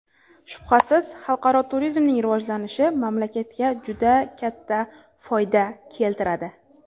Shubhasiz, xalqaro turizmning rivojlanishi mamlakatga juda katta foyda keltiradi.